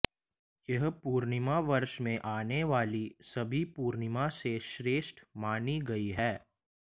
यह पूर्णिमा वर्ष में आने वाली सभी पूर्णिमा से श्रेष्ठ मानी गई है